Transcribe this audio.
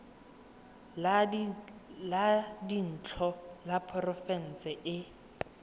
la dintlo la porofense le